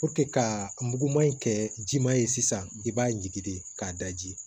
ka muguman in kɛ jiman ye sisan i b'a jigi de k'a daji